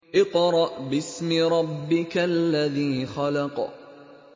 اقْرَأْ بِاسْمِ رَبِّكَ الَّذِي خَلَقَ